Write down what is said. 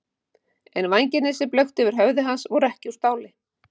En vængirnir sem blöktu yfir höfði hans voru ekki úr stáli.